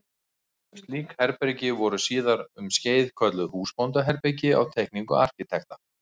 Slík herbergi voru síðar um skeið kölluð húsbóndaherbergi á teikningum arkitekta.